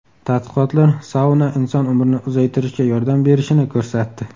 Tadqiqotlar sauna inson umrini uzaytirishga yordam berishini ko‘rsatdi.